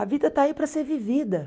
A vida está aí para ser vivida.